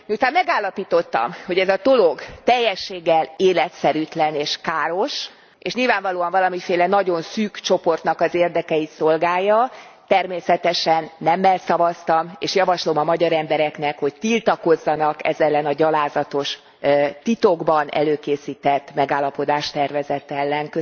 Miután megállapítottam, hogy ez a dolog teljességgel életszerűtlen és káros, és nyilvánvalóan valamiféle nagyon szűk csoportnak az érdekeit szolgálja, természetesen nemmel szavaztam, és javaslom a magyar embereknek, hogy tiltakozzanak ez ellen a gyalázatos, titokban előkészített megállapodástervezet ellen.